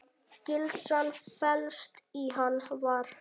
Gildran felst í Hann var.